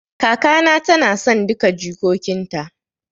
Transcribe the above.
Kaka na ta na son duka jikokin ta